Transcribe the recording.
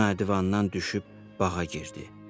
O divandan düşüb bağa girdi.